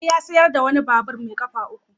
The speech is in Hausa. Ali ya sayar da wani babur mai kafa uku.